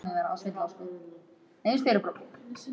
Klukkuna vantaði tíu mínútur í tólf.